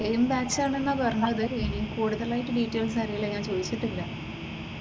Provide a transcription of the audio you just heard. Same ബാച്ചാണെന്നാ പറഞ്ഞത് കുടുതലായിട്ട് ഡീറ്റെയിൽസ് അറിയില്ല ഞാൻ ചോദിച്ചിട്ട് ഇല്ല.